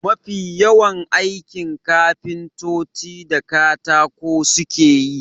Mafi yawan aikin kafintoci da katako suke yi.